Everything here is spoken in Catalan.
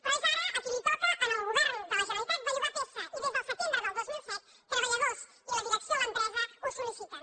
però és ara que li toca al govern de la generalitat bellugar peça i des del setembre del dos mil set treballadors i la direcció de l’empresa ho sol·liciten